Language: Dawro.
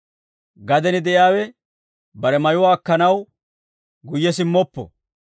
Gaden de'iyaawe bare mayuwaa akkanaw guyye simmoppo.